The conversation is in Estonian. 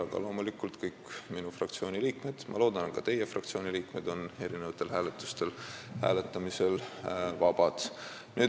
Aga loomulikult on kõik minu fraktsiooni liikmed – ma loodan, et ka teie fraktsiooni liikmed – hääletustel vabad.